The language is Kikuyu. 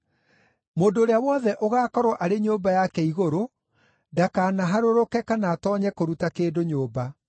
Mũndũ ũrĩa wothe ũgaakorwo arĩ nyũmba yake igũrũ ndakanaharũrũke kana atoonye kũruta kĩndũ nyũmba.